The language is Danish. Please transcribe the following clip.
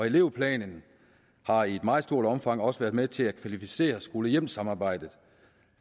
elevplanen har i et meget stort omfang også været med til at kvalificere skole hjem samarbejdet